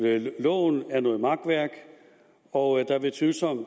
at loven er noget makværk og at det er tvivlsomt